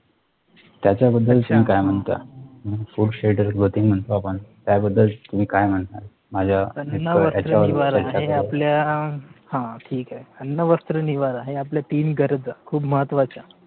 त्याचा बद्दल sir काय सांगता food Schedule बद्दल म्हणतो आपण त्या बद्दल तुम्ही काय म्हणता माझा अन्न, वस्त्र, निवारा ह्या आपल्या हा ठीक आहे अन्न, वस्त्र, निवारा ह्या आपल्या तीन गरजा खूप महत्वाच्या